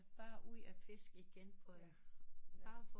Bare ud og fisk igen bare for